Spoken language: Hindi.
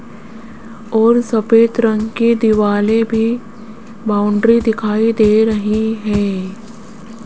और सफेद रंग के दीवाले भी बाउंड्री दिखाई दे रही है।